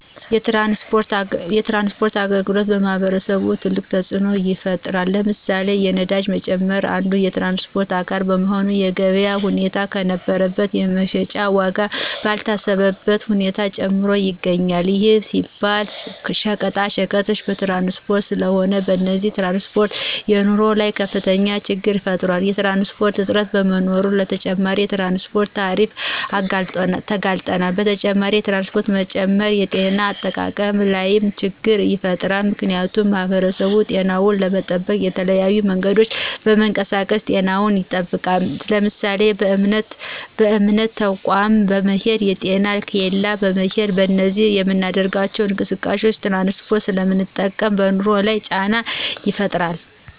የትራንስፖርት አገልግሎት በማህበረሰቡ ትልቅ ተፅኖ ይፍጥራል። ለምሳሌ፦ የነዳጅ መጨመር አንዱ የትራንስፖርት አካል በመሆኑ የገበያ ሁኔታን ከነበረበት የመሸጫ ዎጋ ባልታሰበበት ሁኔታ ጨምሮ ይገኞል ይህም ሲባል ሸቀጣቀጦች በትራንስፖርት ስለሆነ። ለዚህም ትራንስፖርት በኑሮ ላይ ከፍተኞ ችግር ይፈጥራል። የትራንስፖርት እጥረት በመኖሮ ለተጨማሪ የትራንስፖርት ታሪፍ እንጋለጣለን። በተጨማሪ የትራንስፖርት መጨመር የጤነ አጠባበቅ ላይም ችገር ይፈጥራል ምክንያቱሙ ማህበረሰቡ ጤናውን ለመጠበቅ በተለያዩ መንገዶች በመንቀሳቀስ ጤናውን ይጠብቃል ለምሳሌ:- በእምነት ተቆም በመሄድ: ጤና ኬላዎች በመሄድ በእነዚህ በምናደርጋቸው እንቅስቃሴዎች ትራንስፖርት ስለምንጠቀም በኑሮ ላይ ጫና ይፈጥራል